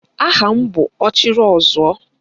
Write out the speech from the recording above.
Aha m bụ Ọchịrịọzụọ